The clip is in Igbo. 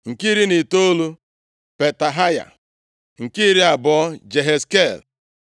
nke iri na itoolu, Petahaya nke iri abụọ, Jehezkel